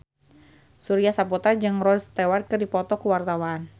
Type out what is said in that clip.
Surya Saputra jeung Rod Stewart keur dipoto ku wartawan